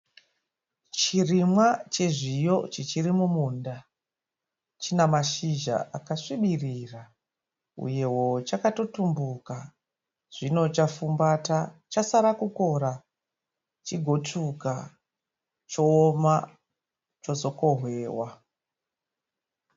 Chirimwa chezviyo chichiri mumunda . China mashizha akasvibirira uyewo chakatotumbuka. Zvino chafumbata chasara kukora chigotsvuka chooma chozokohwewa.